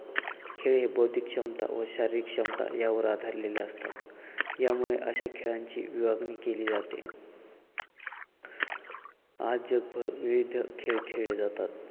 खेळ हे बौद्धिक क्षमता व शारीरिक क्षमता यावर आधारलेले असतात यामुळे अशा खेळांची विभागणी केली जाते आज जगभर विविध खेळ खेळले जातात.